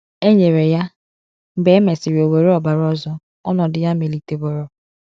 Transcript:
E nyere ya, mgbe e mesịrị o were ọbara ọzọ, ọnọdụ ya meliteworo.